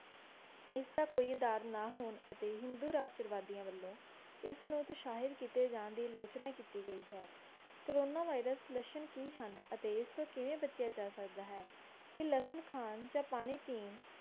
ਇਸ ਦਾ ਕੋਈ ਆਧਾਰ ਨਾ ਹੋਣ ਅਤੇ ਹਿੰਦੂ ਰਾਸ਼ਟਰਵਾਦੀਆਂ ਵਲੋਂ ਇਸ ਨੂੰ ਦੁਸ਼ਾਹਿਤ ਕਿੱਤੇ ਜਾਨ ਦੀ ਲੋਚਨਾ ਕਿੱਤੀ ਗਈ ਹੈ ਕੋਰੋਨਾ virus ਦੇ ਲੱਛਣ ਕੀ ਹਨ ਅਤੇ ਇਸ ਤੋਂ ਕਿਵੇਂ ਬਚਿਆ ਜਾ ਸਕਦਾ ਹੈ? ਕਿ ਲੱਸਣ ਖਾਣ ਜਾਂ ਪਾਣੀ ਪੀਣ